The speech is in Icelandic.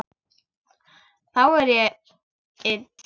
Þá er ég ill.